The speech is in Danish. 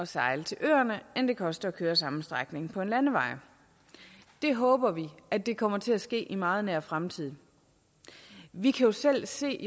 sejle til øerne end det koster at køre samme strækning på en landevej vi håber at det kommer til at ske i meget nær fremtid vi kan jo selv se